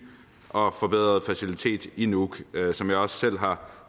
og forbedret facilitet i nuuk som jeg også selv